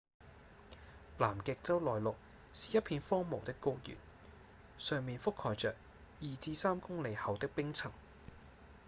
南極洲內陸是一片荒蕪的高原上面覆蓋著 2-3 公里厚的冰層